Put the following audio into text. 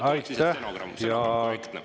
Aitäh!